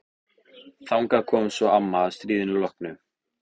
Þangað kom svo amma að stríðinu loknu.